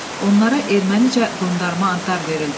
Onlara ermənicə qondarma adlar verildi.